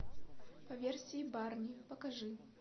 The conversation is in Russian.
по версии барни покажи